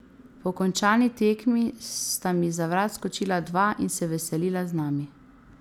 Po končani tekmi sta mi za vrat skočila dva in se veselila z nami.